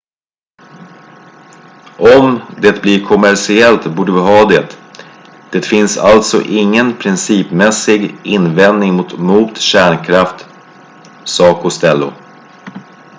"""om det blir kommersiellt borde vi ha det. det finns alltså ingen principmässig invändning mot kärnkraft," sa costello.